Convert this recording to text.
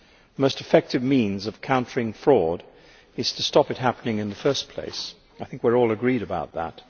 The most effective means of countering fraud is to stop it happening in the first place I think we are all agreed about that.